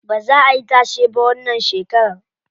Baza ayi tashe ba wannan shekaran.